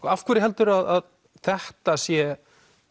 af hverju heldurðu að þetta sé